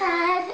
að